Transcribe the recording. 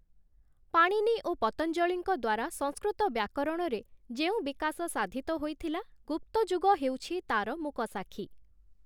ପାଣିନୀ ଓ ପତଞ୍ଜଳୀଙ୍କ ଦ୍ଵାରା ସଂସ୍କୃତ ବ୍ୟାକରଣରେ ଯେଉଁ ବିକାଶ ସାଧିତ ହୋଇଥିଲା ଗୁପ୍ତଯୁଗ ହେଉଛି ତା'ର ମୂକସାକ୍ଷୀ ।